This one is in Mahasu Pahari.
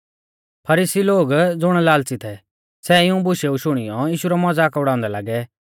फरीसी लोग ज़ुण लाल़च़ी थै सै इऊं बुशेऊ शुणियौ यीशु रौ मज़ाक उड़ाउंदै लागै